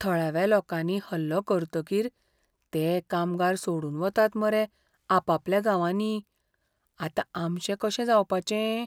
थळाव्या लोकांनी हल्लो करतकीर ते कामगार सोडून वतात मरे आपापल्या गांवांनी, आतां आमचें कशें जावपाचें?